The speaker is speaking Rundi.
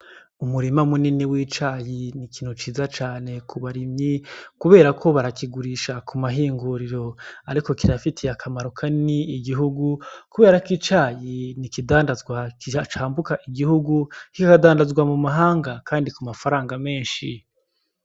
Umurima munini cane w'icayi ni ikintu ciza ku barimyi kuberako barakigurisha ku mahinguriro ariko kirafitiye akamaro kanini igihugu kuberako icayi n’ikidandazwa cambuka igihugu kikadandazwa mu mahanga kandi ku mafaranga menshi.